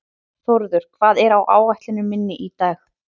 Þórður, hvað er á áætluninni minni í dag?